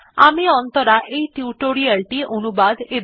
আমি অন্তরা এই টিউটোরিয়াল টি অনুবাদ এবং রেকর্ড করেছি